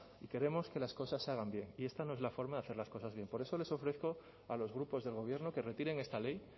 queremos que las cosas se hagan bien y esta no es la forma de hacer las cosas bien por eso les ofrezco a los grupos del gobierno que retiren esta ley